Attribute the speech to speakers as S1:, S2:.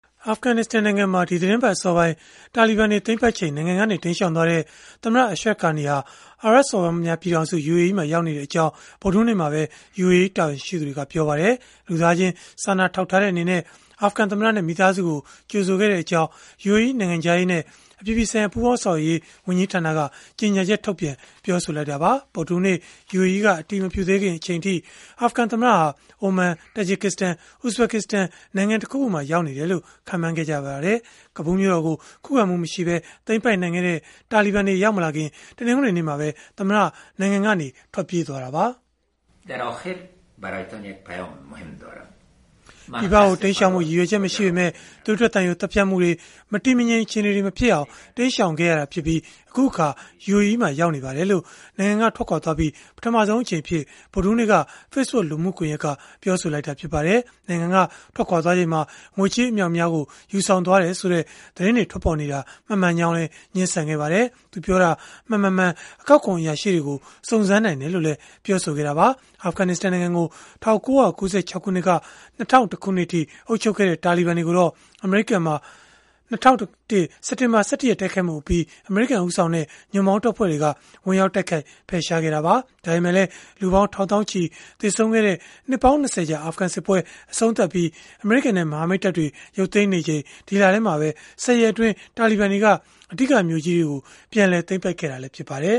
S1: အာဖဂနစ္စတန်နိုင်ငံမှာ ဒီသီတင်းပတ် အစောပိုင်း တာလီဘန်တွေ သိမ်းပိုက်ချိန် နိုင်ငံကနေ တိမ်းရှောင်သွားတဲ့ သမ္မတ Ashraf Ghani ဟာ အာရပ်စော်ဘွားများ ပြည်ထောင်စု (UAE) မှာ ရောက်ရှိနေကြောင်း ဗုဒ္ဓဟူးနေ့မှာပဲ UAE တာဝန်ရှိသူတွေက ပြောပါတယ်။ လူသားချင်း စာနာထောက်ထားတဲ့အနေနဲ့ အာဖဂန်သမ္မတနဲ့ မိသားစုကို ကြိုဆိုခဲ့ကြောင်း UAE နိုင်ငံခြားရေးနဲ့ အပြည်ပြည်ဆိုင်ရာ ပူးပေါင်းဆောင်ရွက်ရေး ဝန်ကြီးဌာနက ကြေညာချက် ထုတ်ပြန်ပြောဆိုလိုက်တာပါ။ ဗုဒ္ဓဟူးနေ့ UAE က အတည်မပြုသေးခင် အချိန်အထိ အာဖဂန်သမ္မတဟာ အိုမန်၊ တာဂျစ်စတန်၊ ဥဇဘကစ္စတန်နိုင်ငံ တခုခုမှာ ရောက်နေတယ်လို့ ခန့်မှန်းခဲ့ကြပါတယ်။ ကဘူးမြို့တော်ကို ခုခံမှုမရှိပဲ သိမ်းပိုက်နိုင်ခဲ့တဲ့ တာလီဘန်တွေ ရောက်မလာခင် တနင်္ဂနွေနေ့မှာပဲ သမ္မတ နိုင်ငံကနေ ထွက်ပြေးသွားခဲ့တာပါ။ (Act.
S2: Ashraf Ghani ) “ပြည်ပကို တိမ်းရှောင်
S1: ဖို့ ရည်ရွယ်ချက် မရှိပေမဲ့ သွေးထွက်သံယို သတ်ဖြတ်မှုတွေ၊ မတည်မငြိမ် အခြေအနေတွေ မဖြစ်အောင် တိမ်းရှောင်ခဲ့ရပြီး၊ အခုအခါ UAE မှာ ရောက်နေပါတယ်။” လို့ နိုင်ငံက ထွက်ခွာသွားပြီးနောက် ပထမဆုံးအကြိမ်အဖြစ် ဗုဒ္ဓဟူးနေ့က Facebook လူမှုကွန်ရက်ကနေ ပြောဆိုလိုက်တာ ဖြစ်ပါတယ်။ နိုင်ငံက ထွက်ခွာချိန်မှာ ငွေကြေးအမြောက်အများ ယူဆောင်သွားတယ်ဆိုတဲ့ သတင်းတွေ ထွက်ပေါ်နေတာဟာ မမှန်ကြောင်းလည်း ငြင်းဆန်ခဲ့ပါတယ်။ သူပြောတာ မှန်၊ မမှန် အကောက်ခွန် အရာရှိတွေကို စုံစမ်းနိုင်တယ်လို့လည်း ပြောဆိုခဲ့တာပါ။ အာဖဂနစ္စတန်နိုင်ငံကို ၁၉၉၆ ခုနှစ်ကနေ ၂၀၀၁ ခုနှစ်အထိ အုပ်ချုပ်ခဲ့တဲ့ တာလီဘန်တွေကိုတော့ အမေရိကန်မှာ ၂၀၀၁ စက်တင်ဘာလ ၁၁ ရက် တိုက်ခိုက်မှုအပြီး အမေရိကန် ဦးဆောင်တဲ့ ညွန့်ပေါင်းတပ်ဖွဲ့တွေက ဝင်ရောက်တိုက်ခိုက် ဖယ်ရှားခဲ့တာပါ။ ဒါပေမဲ့လည်း လူပေါင်း ထောင်သောင်းချီ သေဆုံးခဲ့ရတဲ့ နှစ်ပေါင်း ၂၀ ကြာ အာဖဂန်စစ်ပွဲကို အဆုံးသတ်ပြီး အမေရိကန်နဲ့ မဟာမိတ်တပ်တွေ ရုပ်သိမ်းနေချိန် ဒီလထဲမှာပဲ ၁၀ ရက်အတွင်း တာလီဘန်တွေက အဓိကမြို့ကြီးတွေကို ပြန်လည်သိမ်းပိုက်ခဲ့တာ ဖြစ်ပါတယ်